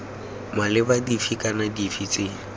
maleba dife kana dife tse